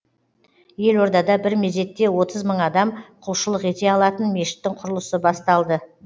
елордада бір мезетте отыз мың адам құлшылық ете алатын мешіттің құрылысы басталды